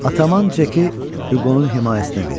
Ataman Ceki Huqonun himayəsinə verdi.